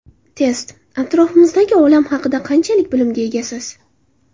Test: Atrofimizdagi olam haqida qanchalik bilimga egasiz?.